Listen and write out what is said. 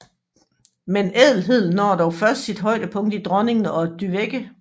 Men ædelheden når dog først sit højdepunkt i dronningen og Dyveke